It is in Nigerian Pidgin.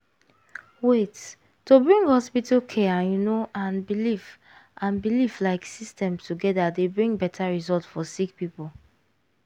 wait- to bring hospital care you know and belief and belief like system togeda dey bring beta result for sick poeple.